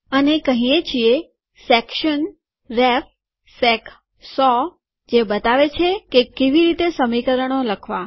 અને કહીએ છીએ section ref sec ૧૦૦ જે બતાવે છે કેવી રીતે સમીકરણો લખવા